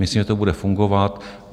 Myslím, že to bude fungovat.